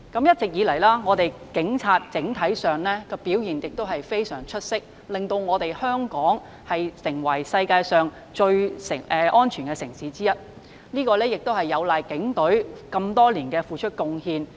一直以來，香港警察整體上的表現非常出色，令香港成為世界上最安全的城市之一，實在有賴警隊多年來的付出和貢獻。